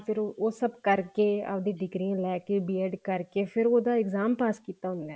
ਫ਼ੇਰ ਉਹ ਸਭ ਕਰਕੇ ਆਪਦੀ ਡਿਗਰੀ ਲੈਕੇ B ED ਕਰਕੇ ਫ਼ੇਰ ਉਹਦਾ exam ਪਾਸ ਕੀਤਾ ਹੁੰਦਾ